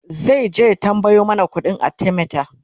zaije ya tambayo mana ƙuɗin arthemeter